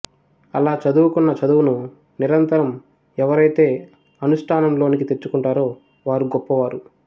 అలా చదువుకున్న చదువును నిరంతరం ఎవరయితే అనుష్ఠానంలోనికి తెచ్చుకుంటారో వారు గొప్పవారు